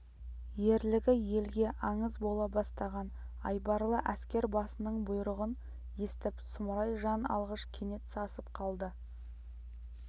ерлігі елге аңыз бола бастаған айбарлы әскер басының бұйрығын естіп сұмырай жан алғыш кенет сасып қалды